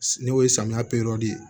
N'o ye samiya ye